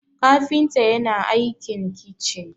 kafinta yana aikin kicin